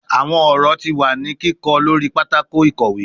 Awọn ọrọ ti wa ni kikọ lori patako ikowe